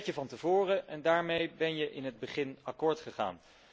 Dat weet je van tevoren, en daarmee ben je in het begin akkoord gegaan.